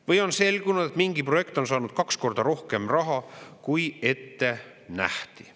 Või on selgunud, et mingi projekt on saanud kaks korda rohkem raha, kui ette nähti.